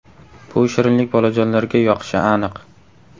Bu shirinlik bolajonlarga yoqishi aniq.